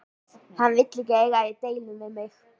Hann vill ekki eiga í deilum við mig.